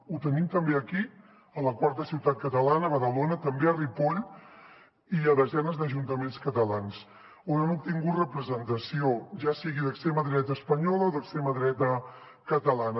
ho tenim també aquí a la quarta ciutat catalana a badalona també a ripoll i a desenes d’ajuntaments catalans on han obtingut representació ja sigui d’extrema dreta espanyola o d’extrema dreta catalana